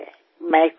હું કંઈ નથી